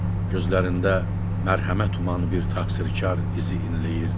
Gözlərində mərhəmət uman bir təqsirkar izi inləyirdi.